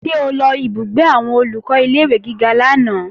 Ṣé o lọ ìbúgbé àwọn Olùkọ́ ilé-ìwé gíga lánàá?